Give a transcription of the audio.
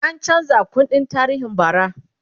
an chanza kundin tarihin bara